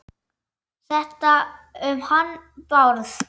Þetta um hann Bárð?